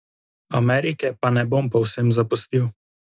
Amerike pa ne bom povsem zapustil.